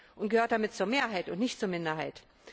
und gehört damit zur Mehrheit und nicht zur Minderheit.